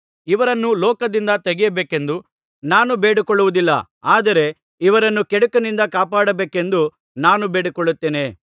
ಇವರನ್ನು ಲೋಕದಿಂದ ತೆಗೆಯಬೇಕೆಂದು ನಾನು ಬೇಡಿಕೊಳ್ಳುವುದಿಲ್ಲ ಆದರೆ ಇವರನ್ನು ಕೆಡುಕನಿಂದ ಕಾಪಾಡಬೇಕೆಂದು ನಾನು ಬೇಡಿಕೊಳ್ಳುತ್ತೇನೆ